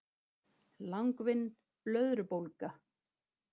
Langvinn blöðrubólga